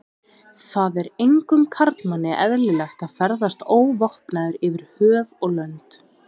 Það er engum karlmanni eðlilegt að ferðast óvopnaður yfir höf og lönd.